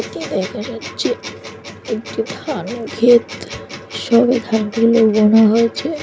এটা দেখা যাচ্ছে একটি ধানের ক্ষেত। সবে ধান গুলো বোনা হয়েছে।